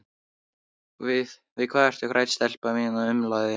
Við hvað ertu hrædd, stelpa mín? umlaði hann.